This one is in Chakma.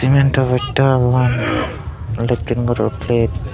memndo hotte parapang balocchon puro treat.